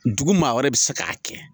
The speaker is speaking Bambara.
Dugu maa wɛrɛ bɛ se k'a kɛ